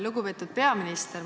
Lugupeetud peaminister!